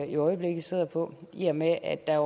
i øjeblikket sidder på i og med at der